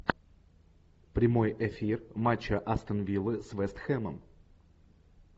прямой эфир матча астон виллы с вест хэмом